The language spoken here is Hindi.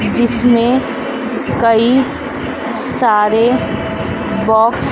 जिसमें कई सारे बॉक्स --